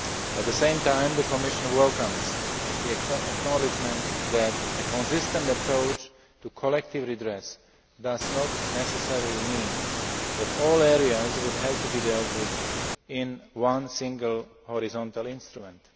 At the same time, the Commission welcomes the acknowledgement that a consistent approach to collective redress does not necessarily mean that all areas would have to be dealt with in one single horizontal instrument.